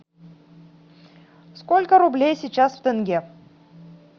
сколько рублей сейчас в тенге